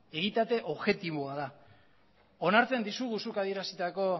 egitate objektiboa da onartzen dizugu zuk adierazitako